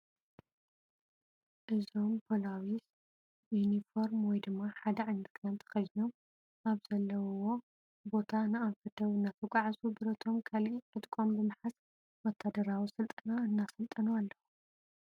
እዞም ፖሊዊስ ዩፎርም ወይ ድማ ሓደ ዓይነት ክዳን ተኸዲኖን ካብ ዘለውዎ ቦታ ንኣንፈት ደቡብ እናተጓዕዙ ብረቶም ካሊእ ዕጥቆን ብምሓዝ ወታደራዊ ስልጠና እናሰልጠኑ ኣለዉ፡፡